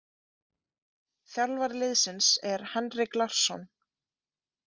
Þjálfari liðsins er Henrik Larsson.